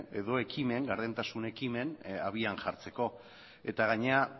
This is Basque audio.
edo gardentasun ekimen abian jartzeko eta gainera